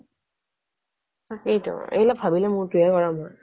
তাকেই তো এইবিলাক ভাবিলে মূৰটো হে গৰম হৈ